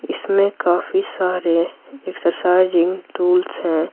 इसमें काफी सारे एक्सरसाइजिंग टूल्स हैं।